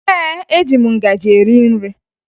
Ee, eji m ngaji eri nri